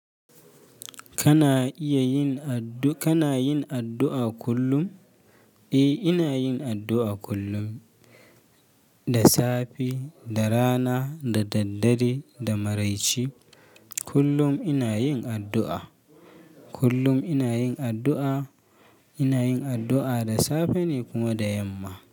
Kana iya yin addu-- kana yin addu'a kullum? Eh, ina yin addu'a kullum. Da safe, da rana, da daddare, da maraice. Kullum ina yin addu'a. Kullum ina yin addu'a. Ina yin addu'a da safe ne kuma da yamma.